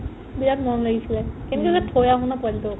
বিৰাট মৰম লাগিছিলে কেনেকৈ যে থৈ আহো ন পোৱালিটোক